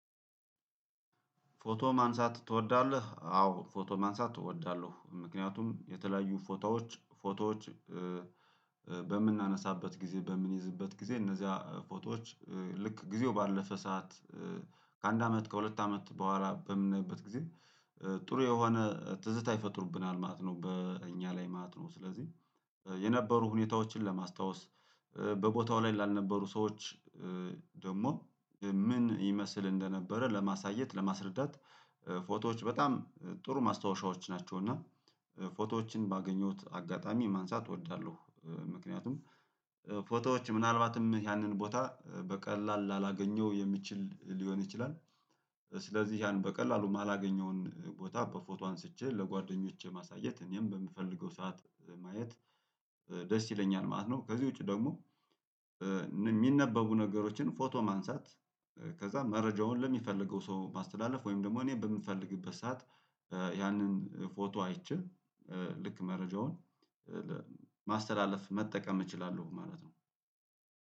ፎቶ ማንሳት ትወዳለህ? አዎ ፎቶ ማንሳት እወዳለሁ። ምክንያቱም የተለያዩ ፎቶዎች ፎቶዎች በምናነሳበት ጊዜ በምንይዝበት ጊዜ እነዚያ ፎቶዎች ልክ ጊዜው ባለፈ ሰዓት ከአንድ አመት ከሁለት አመት በኋላ በምናይበት ጊዜ ጥሩ የሆነ ትዝታ ይፈጥሩብናል ማለት ነው። በእኛ ላይ ማለት ነው ስለዚህ የነበሩ ሁኔታዎችን ለማስታወስ በቦታው ላይ ላልነበሩ ሰዎች ደግሞ ምን ይመስል እንደነበረ ለማሳየት ለማስረዳት ፎቶዎች በጣም ጥሩ ማስታወሻዎች ናቸው። እና ፎቶዎችን ባገኘሁት አጋጣሚ ማንሳት እወዳለሁ። ምክንያቱም ፎቶዎች ምናልባትም ያንን ቦታ በቀላል ላላገኘው የሚችል ሊሆን ይችላል። ስለዚህ ያን በቀላሉ የማላገኘውን ቦታ በፎቶ አንስቼ ለጓደኞቼ ማሳየት እኔም በምፈልገው ሰዓት ማየት ደስ ይለኛል ማለት ነው። ከዚህ ውጪ ደግሞ የሚነበቡ ነገሮችን ፎቶ ማንሳት። ከዛ መረጃውን ለሚፈልገው ሰው ማስተላለፍ ወይም ደግሞ እኔ በምፈልግበት ሰዓት ያንን ፎቶ አይቼ ልክ መረጃውን ማስተላለፍ መጠቀም እችላለሁ ማለት ነው